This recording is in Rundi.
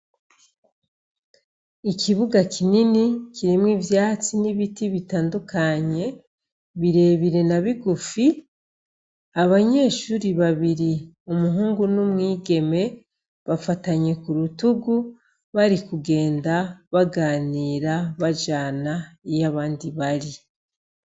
Ikibuga kinini kirimwo ivyatsi n'ibiti bitandukanye birebire na bigufi, abanyeshuri babiri umuhungu n'umwigeme bafatanye ku rutugu bari kugenda baganira bajana iyo abandi bari.